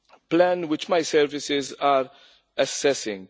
plan which my services are assessing.